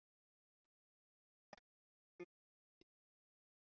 Hvers vegna er Hekla ílöng en ekki keila?